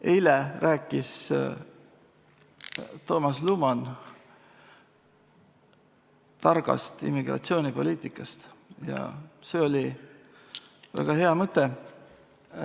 Eile rääkis Toomas Luman targast immigratsioonipoliitikast ja see oli väga hea mõte.